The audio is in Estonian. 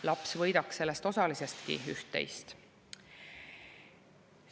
Laps võidaks sellest osalisestki üht-teist.